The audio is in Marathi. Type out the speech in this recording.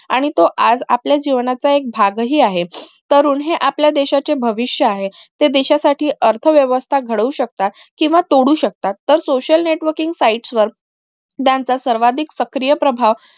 आणि तो आज आपल्या जीवनाचा एक भाग हि आहे तरुण हे आपल्या देशाचे भविष्य आहे ते देशासाठी अर्थव्यवस्था घडवू शकतात केंव्हा तोडू शकतात तर social networking site वर सर्वाधिक सक्रिय प्रभाव